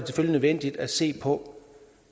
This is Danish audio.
nødvendigt at se på